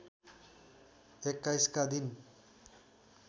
२१ का दिन